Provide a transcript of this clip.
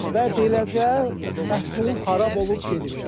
Və beləcə məhsul xarab olub gedir.